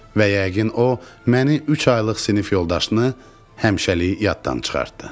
Və yəqin o, məni üç aylıq sinif yoldaşını həmişəlik yaddan çıxartdı.